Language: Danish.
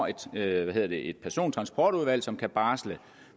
etableret et persontransportudvalg som kan barsle